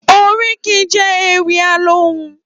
Óríkì jè Éwì Alóhùn